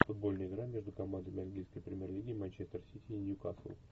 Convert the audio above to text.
футбольная игра между командами английской премьер лиги манчестер сити и ньюкасл